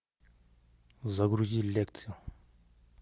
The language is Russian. загрузи лекцию